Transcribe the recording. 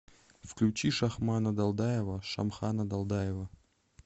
включи шахмана далдаева шамхана далдаева